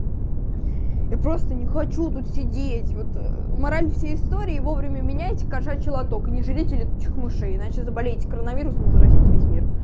я просто не хочу тут сидеть вот мораль всей истории вовремя меняйте кошачий лоток и не жрите летучих мышей иначе заболеете коронавирусом и заразите весь мир